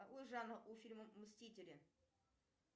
какой жанр у фильма мстители